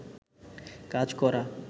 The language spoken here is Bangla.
কাজ করা